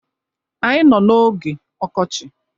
Anyị nọ n'oge ọkọchị.